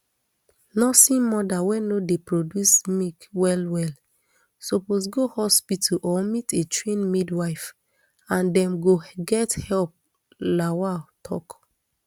nursing mother wey no dey produce milk well well suppose go hospital or meet a trained midwife and dem go get help lawal tok